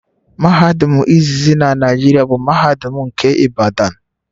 Mahadum izizi na Naijiria bụ mahadum nke Ibadan